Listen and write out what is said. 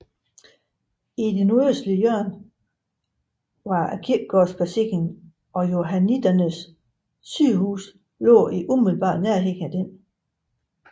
I det nordøstlige hjørne var kirkegården placeret og johanniternes sygehus lå i umiddelbar nærhed af denne